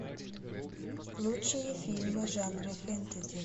лучшие фильмы жанра фэнтези